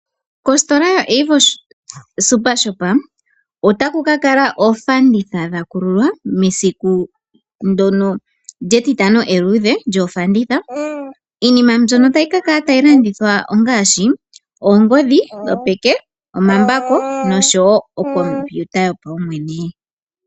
Kositola yo-Avo Supershop, otaku kala oofanditha dha kululwa mesiku ndjoka lyeTitano Eluudhe lyoofanditha. Iinima mbyoka tayi ka kala tayi landithwa ongaashi: oongodhi dhopeke, omambako noshowo okomputa yopaumwene.